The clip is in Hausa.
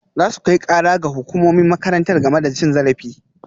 Za su kai kara ga hukumomin makarantar game da cin zarafi